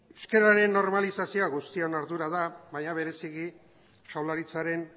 euskararen normalizazioa guztion ardura da baina bereziki jaurlaritzaren